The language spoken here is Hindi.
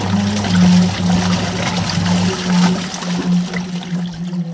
यह एक मोबाइल सेंटर की दुकान है जो लाल और सफेद रंग से पोती हुई है।